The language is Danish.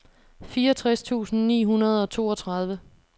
fireogtres tusind ni hundrede og toogtredive